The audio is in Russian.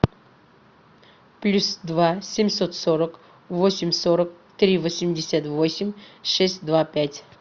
плюс два семьсот сорок восемь сорок три восемьдесят восемь шесть два пять